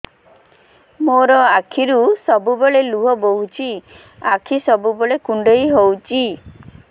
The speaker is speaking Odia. ମୋର ଆଖିରୁ ସବୁବେଳେ ଲୁହ ବୋହୁଛି ଆଖି ସବୁବେଳେ କୁଣ୍ଡେଇ ହଉଚି